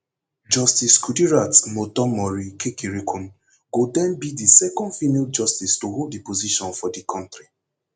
justice kudirat motonmori kekereekun go den be di second female justice to hold di position for di kontri